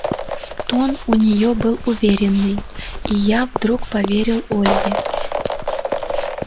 тон у нее был уверенный и я вдруг поверил ольге